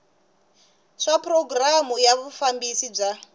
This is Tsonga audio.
swa programu ya vufambisi bya